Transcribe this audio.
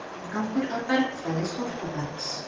„inngangur að bergfræði storkubergs“